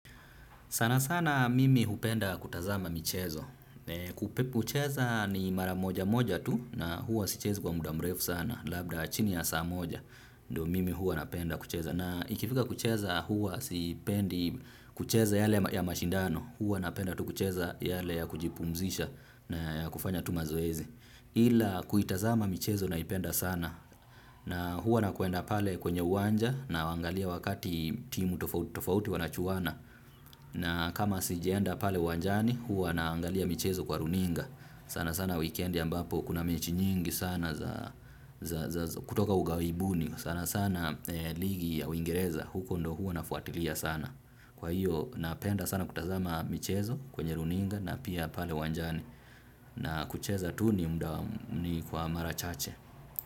Sana sana mimi hupenda kutazama michezo. Hucheza ni maramoja moja tu. Na huwa sichezi kwa muda mrefu sana. Labda, chini ya saa moja. Ndo mimi huwa napenda kucheza. Na ikifika kucheza, huwa sipendi kucheza yale ya mashindano. Huwa napenda tu kucheza yale ya kujipumzisha na ya kufanya tu mazoezi. Ila kuitazama michezo naipenda sana. Na huwa nakuenda pale kwenye uwanja nawangalia wakati timu tofauti tofauti wanachuana. Na kama sijaenda pale uwanjani, huwa naangalia michezo kwa runinga. Sana sana weekend ambapo kuna mechi nyingi sana za kutoka ugawibuni sana sana. Ligi ya Uingereza. Huko ndo huwa nafuatilia sana. Kwa hiyo, napenda sana kutazama michezo kwenye runinga na pia pale wanjani. Na kucheza tu ni kwa mara chache.